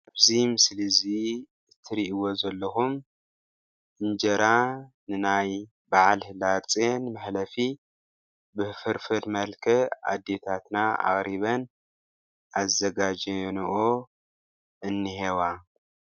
ኣብዚ ምስሊ እዚ ትርኢእዎ ዘለኩም እንጀራ ንናይ በዓል ሕዳር ፅየን መሕለፊ ብ ፍርፍር መልክዕ ኣዴታትና ኣቅሪበን ኣዘጋጀኒኦ እኒሄዋ::